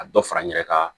A dɔ fara n yɛrɛ ka